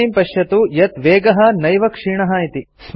इदानीं पश्यतु यत् वेगः नैव क्षीणः इति